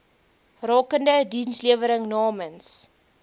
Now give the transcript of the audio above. rakende dienslewering namens